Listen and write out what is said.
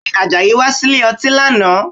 Bẹ́ẹ̀ni, Àjàyí wá sílè ọtí lánàá?